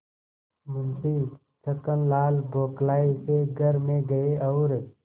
मुंशी छक्कनलाल बौखलाये से घर में गये और